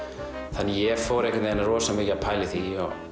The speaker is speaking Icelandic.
þannig að ég fór rosa mikið að pæla í því